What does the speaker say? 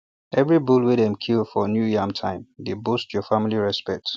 everi bull wey dem kill for new yam time dey boost your family respect